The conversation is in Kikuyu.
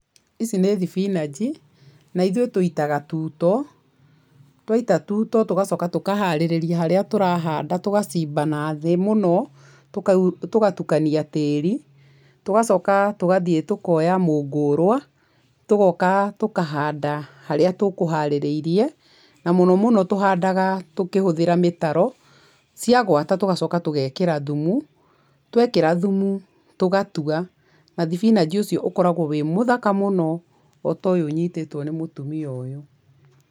Ici nĩ thibinanji, na ithuĩ tũitaga tuto, twaita tuto tũgacoka tũkaharĩrĩria harĩa tũrahanda tũgacimba nathĩ mũno, tũgatukania tĩĩri, tũgacoka tũgathiĩ tũkoya mũũngũrwa, tũgoka tũkahanda harĩa tũkũharĩrĩirie, na mũno mũno tuhandaga tũkĩhũthĩra mĩtaro ciagwata tũgacoka tugekĩra thumu, twekĩra thumu tũgatua, na thibinanji ũcio ũkoragwo wĩ mũthaka mũno o ta ũyũ ũnyitĩtwo nĩ mũtumia ũyũ.